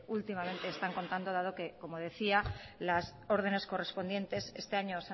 últimamente están contando dado que como decía las órdenes correspondientes este año